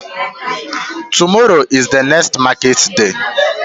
Tomorrow is the next market day